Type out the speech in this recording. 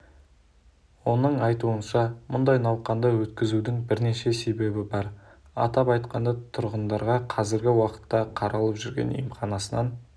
оның айтуынша мұндай науқанды өткізудің бірнеше себебі бар атап айтқанда тұрғындарға қазіргі уақытта қаралып жүрген емханасынан